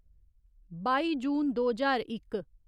बाई जून दो ज्हार इक